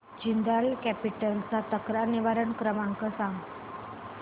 Jindal capital चा तक्रार निवारण क्रमांक सांग